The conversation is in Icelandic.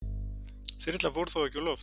Þyrlan fór þó ekki á loft